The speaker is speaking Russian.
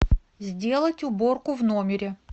сделать уборку в номере